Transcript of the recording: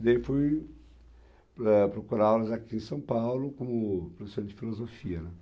E daí fui, eh, procurar aulas aqui em São Paulo como professor de filosofia, né?